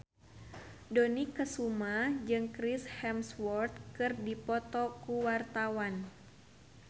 Dony Kesuma jeung Chris Hemsworth keur dipoto ku wartawan